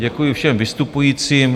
Děkuji všem vystupujícím.